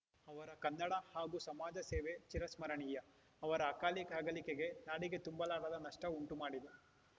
ಅವರ ಕನ್ನಡ ಹಾಗೂ ಸಮಾಜ ಸೇವೆ ಚಿರಸ್ಮರಣೀಯ ಅವರ ಅಕಾಲಿಕ ಅಗಲಿಕೆ ನಾಡಿಗೆ ತುಂಬಲಾರದ ನಷ್ಟಉಂಟುಮಾಡಿದೆ